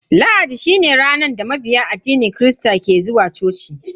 Lahadi shine ranar da mabiya addinin kirista ke zuwa coci bauta.